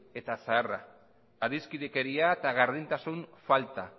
eta zaharra adiskidekeria eta gardentasun falta